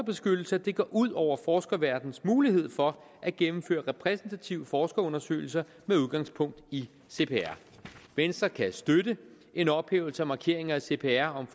at det går ud over forskerverdenens mulighed for at gennemføre repræsentative forskerundersøgelser med udgangspunkt i cpr venstre kan støtte en ophævelse af markeringer i cpr om